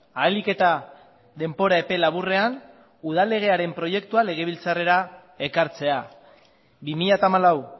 ahalik eta denbora epe laburrean udal legearen proiektua legebiltzarrera ekartzea bi mila hamalau